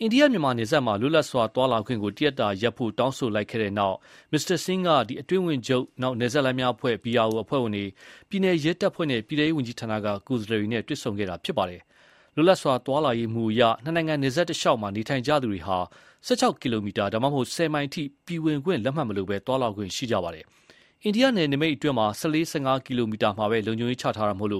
အိန္ဒိယ-မြန်မာ နယ်စပ်မှာ လွတ်လပ်စွာသွားလာခွင့်ကို တရက်တာရပ်ဖို့ တောင်းဆိုလိုက်ပြီးတဲ့နောက် မစ္စတာဆင်းက အတွင်းဝန်ချုပ်၊ နယ်စပ်လမ်းများအဖွဲ့ အဖွဲ့ဝင်တွေ၊ ပြည်နယ်ရဲတပ်ဖွဲ့နဲ့ ပြည်ထဲရေးဝန်ကြီးဌာနက ကိုယ်စားလှယ်တွေနဲ့ တွေ့ဆုံခဲ့တာပါ။ လွတ်လပ်စွာသွားလာရေးမူအရ နှစ်နိုင်ငံ နယ်စပ်တလျှောက်နေထိုင်နေကြသူတွေဟာ ၁၆ ကီလိုမီတာ ဒါမှမဟုတ် ၁၀ မိုင်အထိ ပြည်ဝင်ခွင့်လက်မှတ်မလို သွားလာခွင့် ရှိကြပါတယ်။ အိန္ဒိယနယ်နိမိတ်အတွင်း ၁၄-၁၅ ကီလိုမီတာမှာပဲ လုံခြုံရေးချထားတာမို့